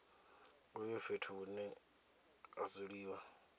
uyu fhethu hune ha dzuliwa